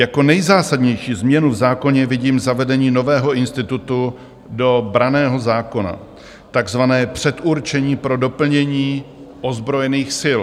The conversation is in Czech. Jako nejzásadnější změnu v zákoně vidím zavedení nového institutu do branného zákona, takzvaného předurčení pro doplnění ozbrojených sil.